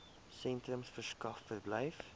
sentrums verskaf verblyf